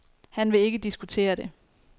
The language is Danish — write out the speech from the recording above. Han vil ikke diskutere det.